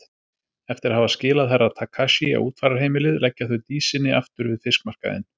Eftir að hafa skilað Herra Takashi á útfararheimilið leggja þau Dísinni aftur við fiskmarkaðinn.